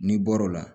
N'i bɔr'o la